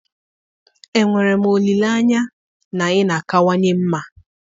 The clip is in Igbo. Enwere m olileanya na ị na-akawanye mma?